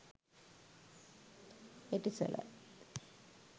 etisalat